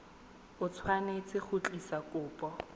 o tshwanetse go tlisa kopo